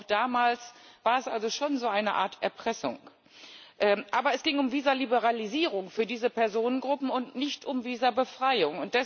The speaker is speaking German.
Auch damals war es also schon so eine Art Erpressung, aber es ging um Visaliberalisierung für diese Personengruppen und nicht um Visabefreiung.